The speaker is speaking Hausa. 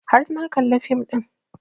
Har na kalla fim ɗin